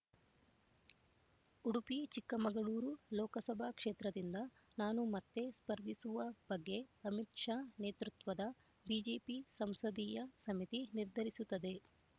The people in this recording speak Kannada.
ಉಡುಪಿಚಿಕ್ಕಮಗಳೂರು ಲೋಕಸಭಾ ಕ್ಷೇತ್ರದಿಂದ ನಾನು ಮತ್ತೆ ಸ್ಪರ್ಧಿಸುವ ಬಗ್ಗೆ ಅಮಿತ್ ಶಾ ನೇತೃತ್ವದ ಬಿಜೆಪಿ ಸಂಸದೀಯ ಸಮಿತಿ ನಿರ್ಧರಿಸುತ್ತದೆ